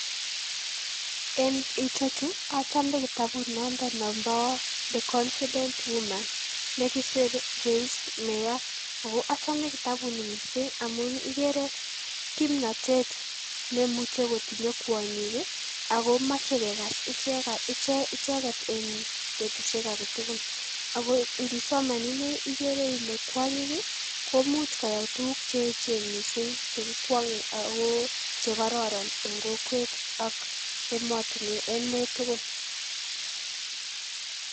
en ichechuu achomomee kitabunondok nompoo the confident woman ne kisir joyce mayor ako achome kitabuni missing amun igerer kimnotet nemuche kotinye kwonyik ii ago moche kekas icheket en betusiek agetugul ago indisoman inee igere ile kwonyik ii komuch koyai tuguk cheechen missing chegikwonge akoo chekororon en kokwet ak emet tugul